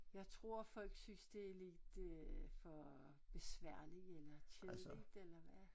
Jeg tror folk synes det er lidt øh for besværlig eller kedeligt eller hvad